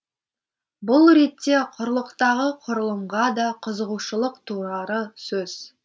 бұл ретте құрлықтағы құрылымға да қызығушылық туары сөзсіз